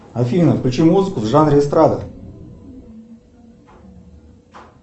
афина включи музыку в жанре эстрада